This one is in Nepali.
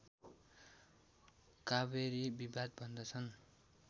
कावेरी विवाद भन्दछन्